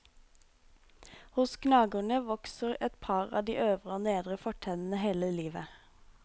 Hos gnagerne vokser et par av de øvre og nedre fortennene hele livet.